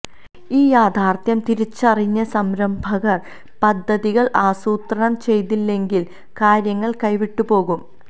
ഈ യാഥാര്ത്ഥ്യം തിരിച്ചറിഞ്ഞ് സംരംഭകര് പദ്ധതികള് ആസൂത്രണം ചെയ്തില്ലെങ്കില് കാര്യങ്ങള് കൈവിട്ടുപോകും